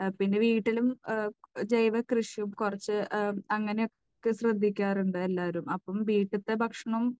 പിന്നെ വീട്ടിലും ജൈവകൃഷി കുറച്ച് അങ്ങനെയൊക്കെ ശ്രദ്ധിക്കാറുണ്ട് എല്ലാവരും. അപ്പോൾ വീട്ടിലത്തെ ഭക്ഷണം